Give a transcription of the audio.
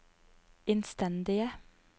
innstendige